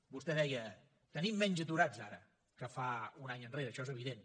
vostè deia tenim menys aturats ara que fa un any enrere això és evident